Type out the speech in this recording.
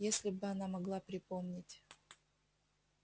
если бы она могла припомнить